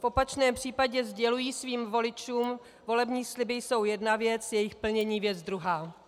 V opačném případě sděluji svým voličům, volební sliby jsou jedna věc, jejich plnění věc druhá.